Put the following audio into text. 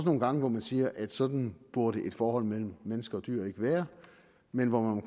nogle gange hvor man siger at sådan burde et forhold mellem mennesker og dyr ikke være men hvor man